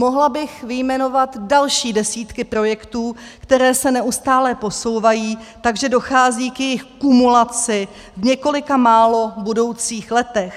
Mohla bych vyjmenovat další desítky projektů, které se neustále posouvají, takže dochází k jejich kumulaci v několika málo budoucích letech.